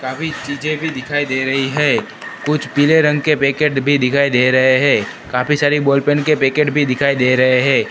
काफी चीजें भी दिखाई दे रही है कुछ पीले रंग के पैकेट भी दिखाई दे रहे है काफी सारी बॉल पेन के पैकेट भी दिखाई दे रहे है।